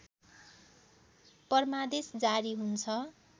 परमादेश जारी हुन्छ